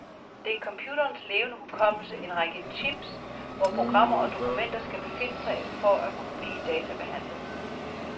Det er computerens levende hukommelse, en række chips, hvor programmer og dokumenter skal befinde sig for at kunne blive databehandlet.